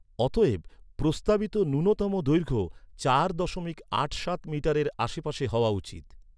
অতএব, প্রস্তাবিত ন্যূনতম দৈর্ঘ্য চার দশমিক আট সাত মিটারের আশেপাশে হওয়া উচিত।